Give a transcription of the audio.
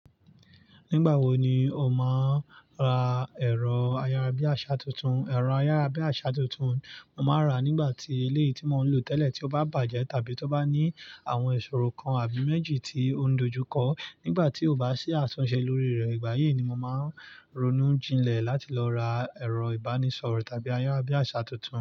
Nígbà wo ni o máa ń ra ẹ̀rọ ayárabíàṣá tuntun? Ẹ̀rọ ayárabíàṣá tuntun, mo máa ń rà nígbà tí eléyìí tí mo ń lò tẹ́lẹ̀ tí ó bá bàjẹ́ tàbí tó bá ní àwọn ìṣòro kan àbí méjì tí ó ń dojú kọ. Nígbà tí ó bá sí àtúnṣe lórí rẹ̀, ìgbà yìí ni mo máa ń ronú jinlẹ̀ láti lọ ra ẹ̀rọ ìbánisọ̀rọ̀ tàbí ayárabíàṣá tuntun.